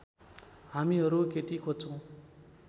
हामीहरू केटी खोज्छौँ